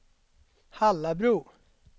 Hallabro